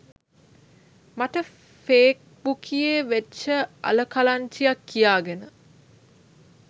මට ෆේක් බුකියේ වෙච්ච අල කලංචියක් කියාගෙන